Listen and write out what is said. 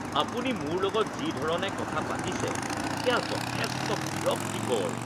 আপুনি মোৰ লগত যি ধৰণে কথা পাতিছে সেয়া যথেষ্ট বিৰক্তিকৰ।